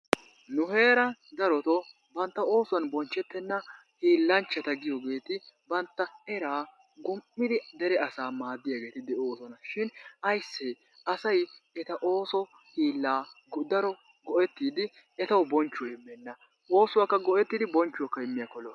Nu heeran darottoo bantta oosuwaan bonchchitteena hiilanchchata giyoogeeti bantta era gum''idi dere asa maaddiyaageeta de'ossona shin aysse asay eta oosoy hiilaa daro go"ettidi etaw bonchchuwa immena, oosuwakka go"ettidi bonchchuwakka immiyaakko lo"o.